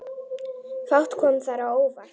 Fátt kom þar á óvart.